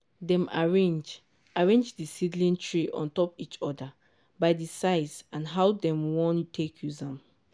dem arrange arrange di seedling tray on top each other by di size and how dem wan take use am.